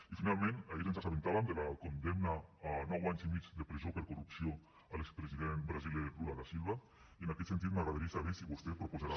i finalment ahir ens assabentàvem de la condemna a nou anys i mig de presó per corrupció a l’expresident brasiler lula da silva i en aquest sentit m’agradaria saber si vostè proposarà